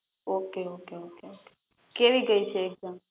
Okay okay okay કેવી ગઈ છે એકઝામ?